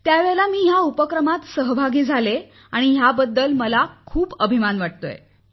त्यावेळी मी या उपक्रमात सहभागी झाली याबद्दल मला आज खूप अभिमान वाटतो आहे